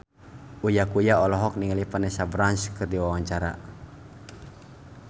Uya Kuya olohok ningali Vanessa Branch keur diwawancara